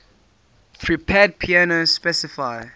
prepared piano specify